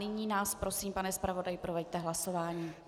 Nyní nás prosím, pane zpravodaji, proveďte hlasováním.